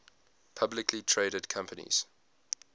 publicly traded companies